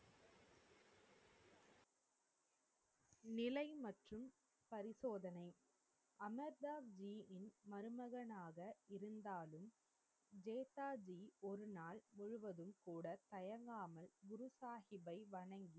நிலை மற்றும் பரிசோதனை அமர்தாஜியின் மருமகனாக இருந்தாலும் நேதாஜி ஒரு நாள் முழுவதும் கூட தயங்காமல் குரு சாஹிப்பை வணங்கி